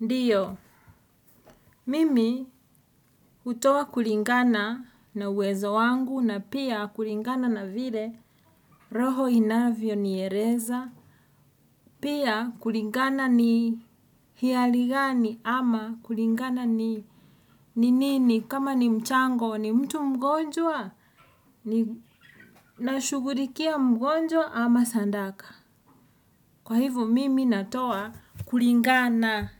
Ndiyo, mimi, hutoa kulingana na uwezo wangu na pia kulingana na vile, roho inavyo niereza. Pia, kulingana ni hialigani? Ama, kulingana ni ninini? Kama ni mchango ni mtu mgonjwa? Ni nashugurikia mgonjwa ama sandaka? Kwa hivo mimi natoa, kulingana